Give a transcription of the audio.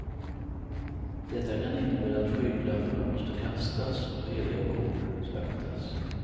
Detta kan innebära att skygglappar måste kastas och heliga kor slaktas.